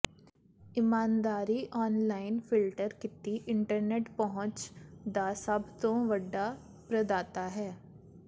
ਇਮਾਨਦਾਰੀ online filter ਕੀਤੀ internet ਪਹੁੰਚ ਦਾ ਸਭ ਤੋਂ ਵੱਡਾ ਪ੍ਰਦਾਤਾ ਹੈ